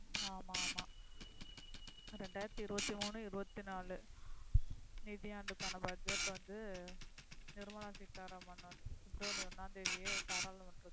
ஆமா ஆமா ரெண்டாயிரத்து இருவதிமூனு இருவத்திநாலு நிதி ஆண்டுக்கான பட்ஜெட் வந்து நிர்மலா சீதாராமன் அக்டோபர் ஒன்னாம் தேதியே பாராளுமன்றம்